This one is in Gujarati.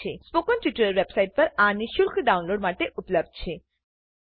સ્પોકન ટ્યુટોરીયલ વેબસાઇટ પર આ નિઃશુલ્ક ડાઉનલોડ માટે ઉપલબ્ધ છે